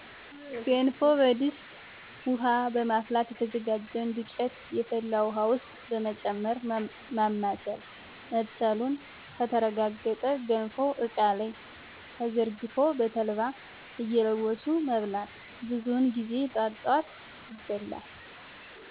ገንፎ በድስት ውሀ በማፍላት የተዘጋጀውን ዱቄት የፈላ ውሀ ውስጥ በመጨመር ማማሰል መብሰሉ ከተረጋገጠ ገንፎው እቃ ላይ ተዘርግፎ በተልባ እየለወሱ መብላት። ብዙውን ጊዜ ጠዋት ጠዋት ይበላል።